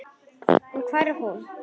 En hvar er hún?